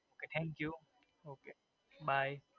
Okay thank you Okay bye